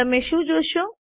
તમે શું જુઓ છો